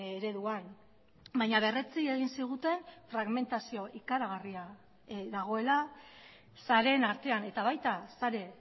ereduan baina berretsi egin ziguten fragmentazio ikaragarria dagoela sareen artean eta baita sare